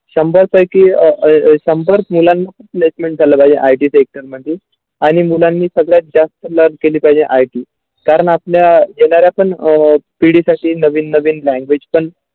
शंभर पैकी अ संपर्क मुलांना placement झाला पाहिजे IT sector मध्ये आणि मुलांनी सगळे जास्त मदत केली पाहिजे IT कारण आपल्या Generation अ पिढी नवीन नवीन language पण.